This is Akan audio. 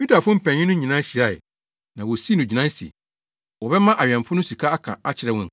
Yudafo mpanyin no nyinaa hyiae, na wosii no gyinae se, wɔbɛma awɛmfo no sika aka akyerɛ wɔn